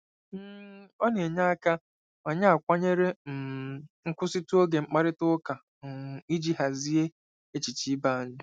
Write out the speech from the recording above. um Ọ na-enye aka ma anyị akwanyere um nkwụsịtụ n'oge mkparịta ụka um iji hazie echiche ibe anyị.